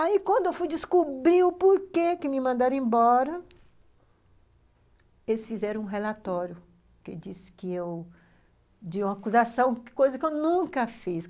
Aí, quando eu fui descobrir o porquê que me mandaram embora, eles fizeram um relatório de uma acusação, coisa que eu nunca fiz.